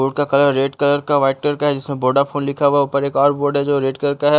Board का colour red colour का white colour का है जिसमें बोड़ाफोन लिखा हुआ है ऊपर एक और बोर्ड है जो रेड कलर का है।